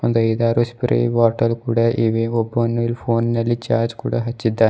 ಒಂದು ಐದಾರು spray bottle ಕೂಡ ಇವೆ ಒಬ್ಬನು ಇಲ್ಲಿ ಫೋನ್ ನಲ್ಲಿ ಚಾರ್ಜ್ ಕೂಡ ಹಚ್ಚಿದ್ದಾನೆ.